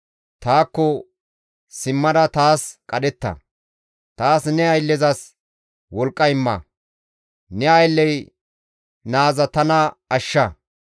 Taakko simmada taas qadhetta; taas ne ayllezas wolqqa imma; ne aylley naaza tana ashsha.